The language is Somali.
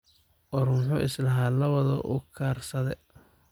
War muxu islan lawadh uukursadhe?